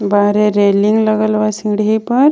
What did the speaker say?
बहरे रेलिंग लगल बा सीढ़ी पर।